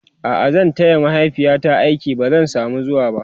a'a zan taya mahaifiyata aiki ba zan samu zuwaba